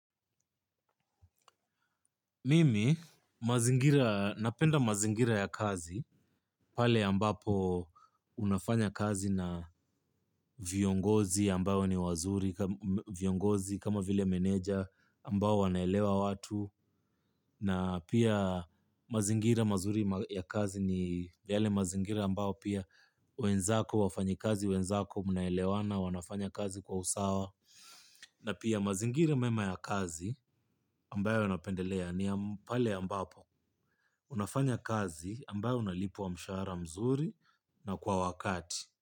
Mimi mazingira napenda mazingira ya kazi, pale ambapo unafanya kazi na viongozi ambao ni wazuri, viongozi kama vile meneja ambao wanaelewa watu, na pia mazingira mazuri ya kazi ni yale mazingira ambao pia wenzako wafanyikazi, wenzako mnaelewana, wanafanya kazi kwa usawa, na pia mazingira mema ya kazi ambayo napendelea ni ya pale ambapo. Unafanya kazi ambayo unalipwa mshahara mzuri na kwa wakati.